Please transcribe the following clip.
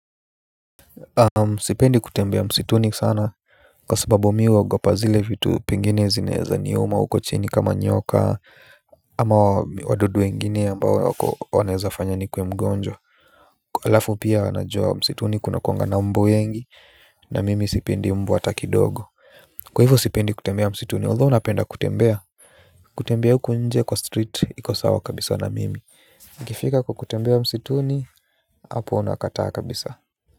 Sipendi kutembea msituni sana kwa sababu mimi huugopa zile vitu pengine zinaweza niuma huko chini kama nyoka ama wadudu wengine ambao wanaezafanya nikuwe mgonjwa alafu pia najua msituni kuna kuwanga na mbu wengi na mimi sipendi mbu hata kidogo. Kwa hivyo sipendi kutembea msituni although napenda kutembea. Kutembea huku nje kwa street iko sawa kabisa na mimi. Ikifika kwa kutembea msituni hapo nakataa kabisa.